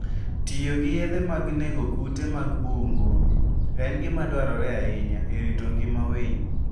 Tiyo gi yedhe mag nego kute mag bungu en gima dwarore ahinya e rito ngima winy.